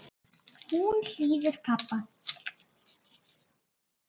Hún hlýðir pabba.